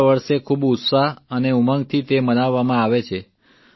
દર વર્ષે ખૂબ ઉત્સાહ અને ઉંમગથી તે મનાવવામાં આવે છે